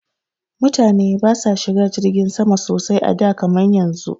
Mutane ba sa shiga jirgin sama sosai a da kaman yanzu